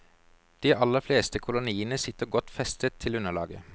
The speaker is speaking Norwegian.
De aller fleste koloniene sitter godt festet til underlaget.